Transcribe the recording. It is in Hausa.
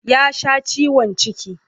Ya sha ciwon ciki.